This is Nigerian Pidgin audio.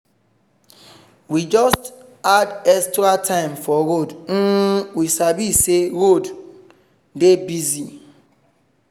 we just add extra time for road um we sabi say roads go dey busy.